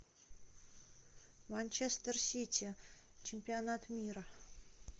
манчестер сити чемпионат мира